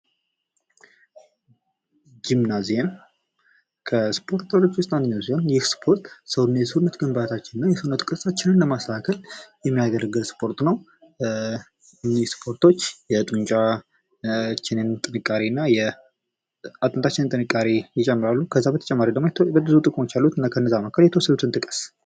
ጂምናዚየም፤ ከስፖርት ቤት ውስጥ አንደኛው ሲሆን ይህ ስፖርት የሰውነት ግንባታችንን የእውነት ቅርጻችንን ለማስተካከል የሚያገለግል ስፖርት ነው። እኚህ ስፖርቶች የጡንቻ፣ የጥንካሬ እና የአጥንታችንን ጥንካሬ ይጨምራሉ። ከዛ በተጨማሪ ደሞ ብዙ ጥቅሞች አሉት ከነሱ መካከል የተወሰኑትን ጥቀስ።